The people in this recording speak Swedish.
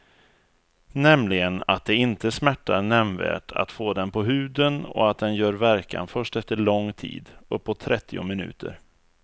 Nämligen att det inte smärtar nämnvärt att få den på huden och att den gör verkan först efter lång tid, uppåt trettio minuter.